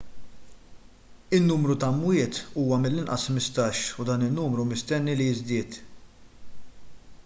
in-numru ta' mwiet huwa mill-inqas 15 u dan in-numru mistenni li jiżdied